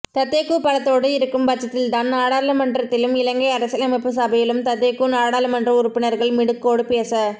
ததேகூ பலத்தோடு இருக்கும் பட்சத்தில்தான் நாடாளுமன்றத்திலும் இலங்கை அரசியலமைப்புச் சபையிலும் ததேகூ நாடாளுமன்ற உறுப்பினர்கள் மிடுக்கோடு பேச